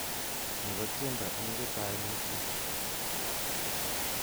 Ni ko tiendo eng chetai mutu